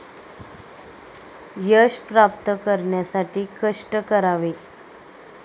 यश प्राप्त करण्यासाठी कष्ट करावे